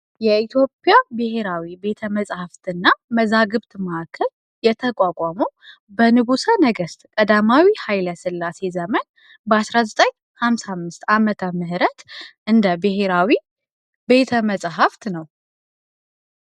የኢትዮጵያ ብሔራዊ ቤተ መጻሕፍት እና መዛግብት ማዕከል የተቋቋመው በ ንጉሰ ነገስት ቀዳማዊ ኃይለስላሴ ዘመን በ 19,55 ዓመተ ምህረት እንደ ብሔራዊ ቤተ መጻሕፍት ነው።